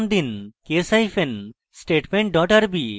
এর name দিন case hyphen statement dot rb